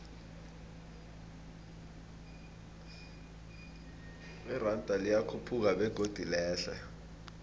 iranda liyakhuphuka begodu lehle